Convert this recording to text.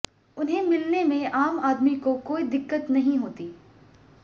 उनसे मिलने में आम आदमी को कोई दिक्कत नहीं होती